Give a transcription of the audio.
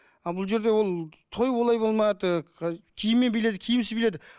ал бұл жерде ол той олай болмады киіммен биледі киімсіз биледі